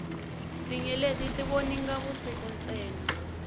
tinyeleti ti voninga vusiku ntsena